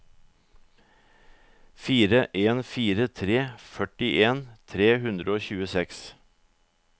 fire en fire tre førtien tre hundre og tjueseks